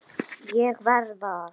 ÉG VERÐ AÐ